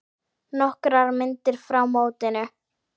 Nokkrar myndir frá mótinu.